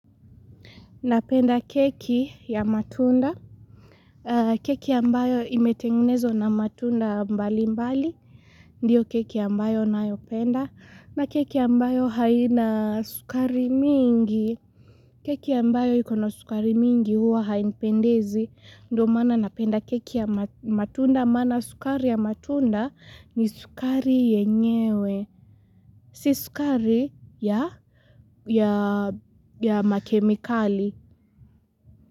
Napenda keki ya matunda keki ambayo imetengenezwa na matunda mbalimbali Ndiyo keki ambayo nayopenda na keki ambayo haina sukari mingi keki ya ambayo ikona sukari mingi huwa hainipendezi. Ndio maana napenda keki ya matunda maana sukari ya matunda ni sukari yenyewe Si sukari ya makemikali.